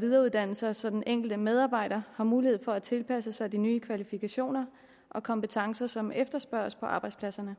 videreuddanne sig så den enkelte medarbejder har mulighed for at tilpasse sig de nye kvalifikationer og kompetencer som efterspørges på arbejdspladserne